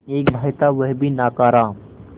एक भाई था वह भी नाकारा